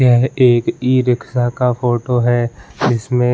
यह एक इ-रिक्शा का फोटो है जिसमें --